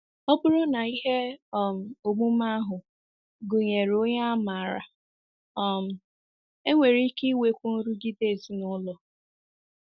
Ọ bụrụ na ihe um omume ahụ gụnyere onye a maara, um e nwere ike inwekwu nrụgide ezinụlọ.